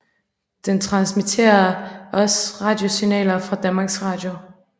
Den transmitterer også radiosignaler fra Danmarks Radio